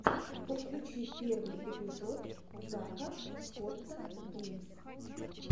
подключи первый эпизод зака скотта геймс